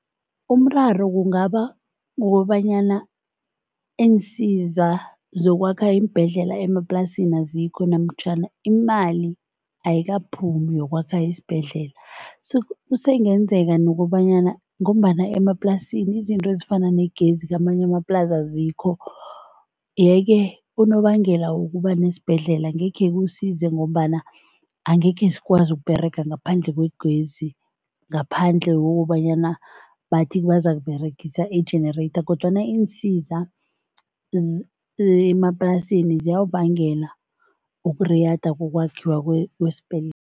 Umraro kungaba kukobanyana iinsiza zokwakha iimbhedlela emaplasini azikho namtjhana imali ayikaphumi yokwakha isibhedlela so kusebenzeka nokobanyana ngombana emaplasini izinto ezifana negezi, kamanye amaplasi azikho yeke unobangela wokuba nesibhedlela angekhe kusize ngombana angekhe sikwazi ukuberega ngaphandle kwegezi, ngaphandle kokobanyana bathi bazakuberegisa i-generator kodwana iinsiza emaplasini ziyawubangela ukuriyada kokwakhiwa kwesibhedlela.